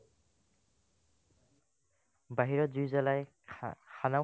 বাহিৰত জুই জ্বলাই খা খানাও